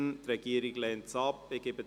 Die Regierung lehnt diese ab.